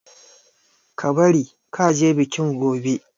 Ka bari ka je bikin gobe!